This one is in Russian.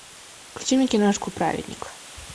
включи мне киношку праведник